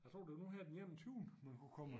Jeg tror det var nu her den enogtyvende man kunne komme og